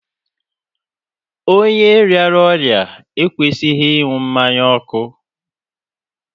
Onye rịara ọrịa ekwesịghị ịṅụ mmanya ọkụ